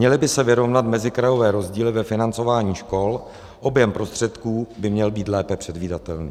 Měly by se vyrovnat mezikrajové rozdíly ve financování škol, objem prostředků by měl být lépe předvídatelný.